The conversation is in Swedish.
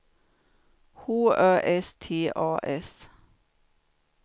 H Ö S T A S